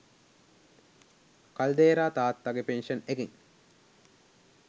කල්දේරා තාත්තගේ පෙන්ෂන් එකෙන්